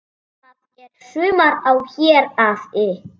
Það er sumar á Héraði.